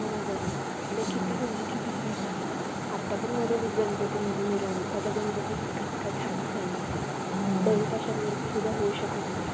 जस कि entertainment मध्ये वेगवेगळे option पण असतात जस कि आता खुप जणांना comedy च आवडतात तर खुप जणांना वेगवेगळे show आवडतात आता खुप वेगवेगळ्या अह अं seriesseries पण आहेत